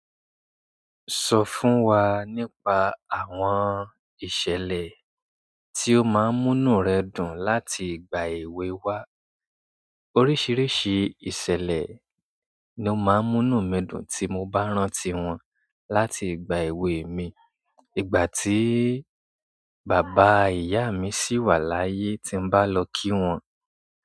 Sọ fún wa nípa àwọn ìṣẹ̀lẹ̀ tí ó máa ń mú inú rẹ dùn láti ìgbà èwe wá. Oríṣìíríṣìí ìṣẹ̀lẹ̀ ni ó máa ń mú inú mi dùn tí mo bá rántí wọn láti ìgbà èwe mi. Ìgbà tí bàbá ìyá mi sì wà láyé tí mo bá lọ kí wọn.